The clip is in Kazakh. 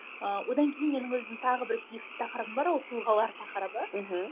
ыыы одан кейін менің өзімнің тағы бір сүйікті тақырыбым бар ол тұлғалар тақырыбы мхм